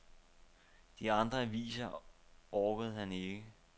De andre aviser orker han ikke.